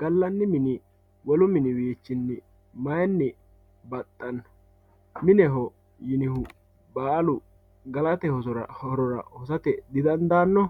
galani mini wolu miniwiichini mayini baxano mineho yinihu baalu galate horora hosate didandaano